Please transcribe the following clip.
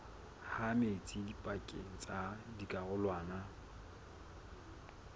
ha metsi pakeng tsa dikarolwana